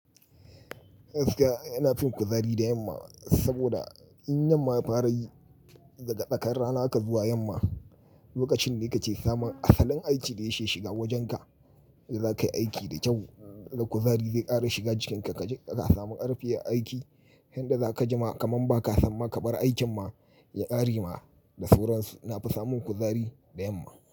Gaskiya ina fin kuzari da yamma saboda in yamma ya farayi daga tsakar rana haka zuwa yamma, lokacin ne kake samun asalin aikin da ya ke shiga wajenka yadda zakayi aiki da kyau. Da kuzari zai ƙara shiga jikinka kaje ka samu ƙarfi a aiki. Inda zaka jima kaman baka san ma ka bar aikin ma ya ƙare ma. Da sauran nafi samun kuzari da yamma.